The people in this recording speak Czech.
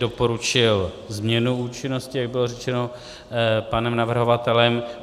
Doporučil změnu účinnosti, jak bylo řečeno panem navrhovatelem.